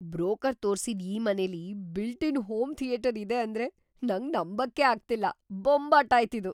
Broker ತೋರ್ಸಿದ್ ಈ ಮನೆಲಿ ಬಿಲ್ಟ್-ಇನ್ ಹೋಮ್ ಥಿಯೇಟರ್ ಇದೆ ಅಂದ್ರೆ ನಂಗ್‌ ನಂಬಕ್ಕೇ ಆಗ್ತಿಲ್ಲ. ಬೊಂಬಾಟಾಯ್ತಿದು!